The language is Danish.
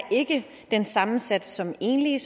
den samme sats som enlige